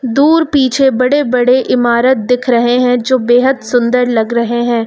दूर पीछे बड़े बड़े ईमारत दिख रहे हैं जो बेहद सुंदर लग रहे हैं।